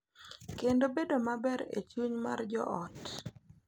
Kendo bedo maber e chuny mar jo ot.